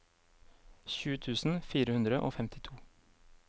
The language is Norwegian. tjue tusen fire hundre og femtito